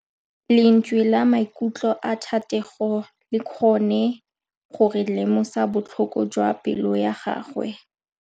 Lentswe la maikutlo a Thategô le kgonne gore re lemosa botlhoko jwa pelô ya gagwe.